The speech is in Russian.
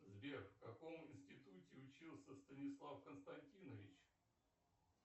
сбер в каком институте учился станислав константинович